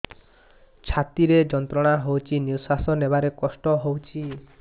ଛାତି ରେ ଯନ୍ତ୍ରଣା ହଉଛି ନିଶ୍ୱାସ ନେବାରେ କଷ୍ଟ ହଉଛି